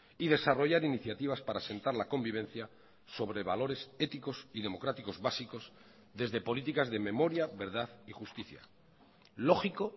y desarrollar iniciativas para sentar la convivencia sobre valores éticos y democráticos básicos desde políticas de memoria verdad y justicia lógico